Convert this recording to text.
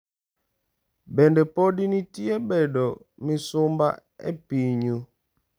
Bende pod nitie bedo misumba e pinyu?